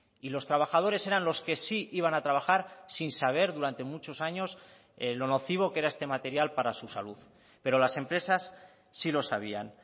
y los trabajadores eran los que sí iban a trabajar sin saber durante muchos años lo nocivo que era este material para su salud pero las empresas sí lo sabían